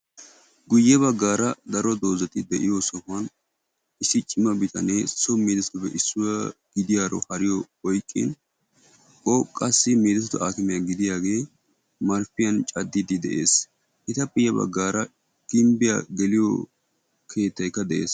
Guyye baggaara daro doozati de'iyo sohuwan issi cima bitanee so medoossatuppe issuwa gidiyaro hariyo oyqqin o qassi medoossatu aakime gidiyagee marppiyan caddiiddi de'es. Etappe ya baggaara gimbbiya geliyo keettayikka de'es.